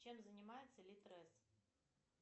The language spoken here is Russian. чем занимается литрес